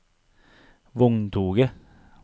vogntoget